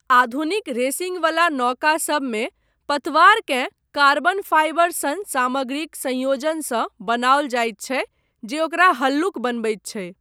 आधुनिक रेसिङ्गवला नौकासभमे, पतवारकेँ कार्बन फाइबर सन सामग्रीक संयोजनसँ बनाओल जायत छै जे ओकरा हल्लुक बनबैत छै।